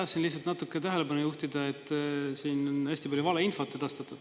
Tahtsin lihtsalt natuke tähelepanu juhtida, et siin on hästi palju valeinfot edastatud.